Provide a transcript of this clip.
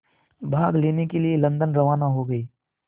भाग लेने के लिए लंदन रवाना हो गए